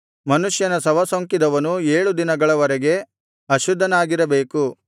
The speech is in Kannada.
ಮನುಷ್ಯನ ಶವ ಸೋಂಕಿದವನು ಏಳು ದಿನಗಳವರೆಗೆ ಅಶುದ್ಧನಾಗಿರಬೇಕು